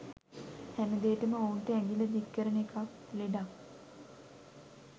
හැමදේටම ඔවුන්ට ඇඟිල්ල දික් කරන එකත් ලෙඩක්.